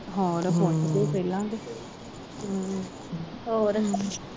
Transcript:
ਹੋਰ ਪੁੱਛਦੇ ਪਹਿਲਾ ਕ ਹੂੰ ਹੋਰ